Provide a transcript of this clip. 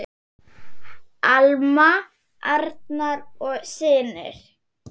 Alma, Arnar og synir.